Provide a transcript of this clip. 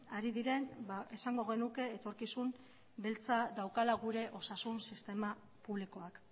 ari diren esango genuke etorkizun beltza daukala gure osasun sistema publikoak